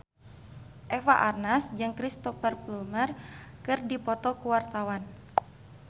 Eva Arnaz jeung Cristhoper Plumer keur dipoto ku wartawan